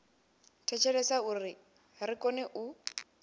thetshelesa uri ri kone u